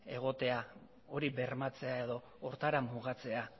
egotea hori bermatzea edo horretara mugatzea